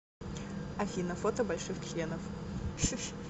афина фото больших членов